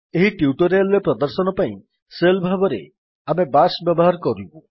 ଏହି ଟ୍ୟୁଟୋରିଆଲ୍ ରେ ପ୍ରଦର୍ଶନ ପାଇଁ ଶେଲ୍ ଭାବରେ ଆମେ ବାଶ୍ ବ୍ୟବହାର କରିବୁ